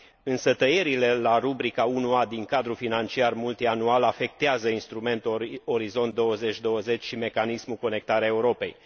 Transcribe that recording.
Însă tăierile la rubrica 1a din cadrul financiar multianual afectează instrumentul Orizont 2020 și mecanismul Conectarea Europei.